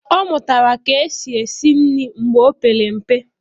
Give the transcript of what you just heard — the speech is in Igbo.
Ọ mụtara ka esi esi nri mgbe o opere mpe.